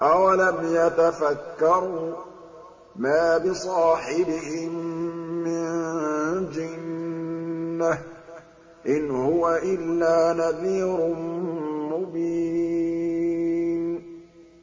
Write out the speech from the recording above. أَوَلَمْ يَتَفَكَّرُوا ۗ مَا بِصَاحِبِهِم مِّن جِنَّةٍ ۚ إِنْ هُوَ إِلَّا نَذِيرٌ مُّبِينٌ